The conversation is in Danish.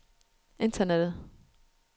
internettet